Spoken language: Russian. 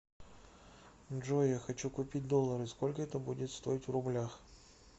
джой я хочу купить доллары сколько это будет стоить в рублях